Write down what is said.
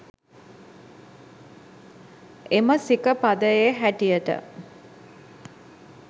එම සික පදයේ හැටියට,